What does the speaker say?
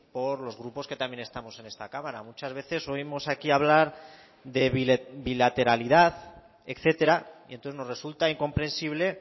por los grupos que también estamos en esta cámara muchas veces oímos aquí hablar de bilateralidad etcétera y entonces nos resulta incomprensible